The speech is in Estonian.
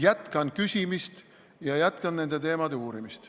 Jätkan küsimist ja jätkan nende teemade uurimist.